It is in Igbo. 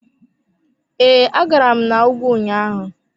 Ee, agara m na ùgwù ụnyaahụ.